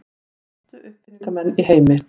Mestu uppfinningamenn í heimi.